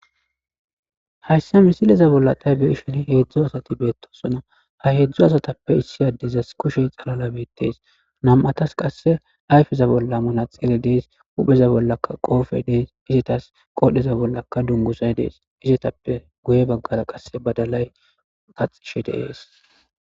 Hayssa misileza bollatay beishini heedzdzo asati beettosona ha heedzdzu asatappe issi addizas kushe xalala beettees nam'atas qasse ayfeza bolla manaxire dees upheza bollaka qoofe dees izetas qodhdheza bollaka dungusay dees izetappe guye baggara qasse badalay kaxishe deees.